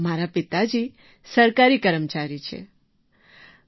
મારા પિતાજી સરકારી કર્મચારીછે